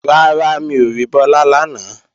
Rárá, mi ò rí Bọ́lá lánàá